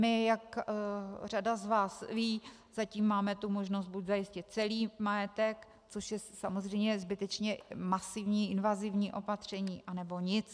My, jak řada z vás ví, zatím máme tu možnost buď zajistit celý majetek, což je samozřejmě zbytečně masivní invazivní opatření, anebo nic.